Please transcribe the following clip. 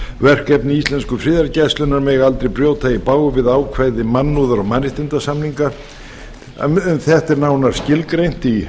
verkefni íslensku friðargæslunnar mega aldrei brjóta í bága við ákvæði mannúðar og mannréttindasamninga þetta er nánar skilgreint í